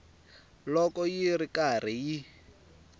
loko yi ri karhi yi